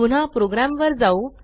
पुन्हा प्रोग्रॅमवर जाऊ